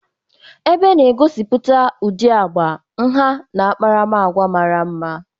Ebe na-egosipụta ụdị agba, nha na akparamagwa mara mma.